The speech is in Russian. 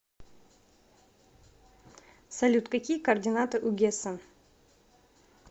салют какие координаты у гессен